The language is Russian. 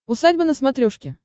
усадьба на смотрешке